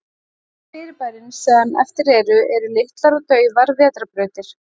Flest fyrirbærin sem eftir eru, eru litlar og daufar vetrarbrautir.